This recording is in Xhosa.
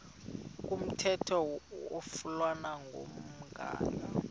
komthetho oflunwa ngumgago